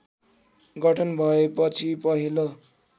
गठन भएपछि पहिलो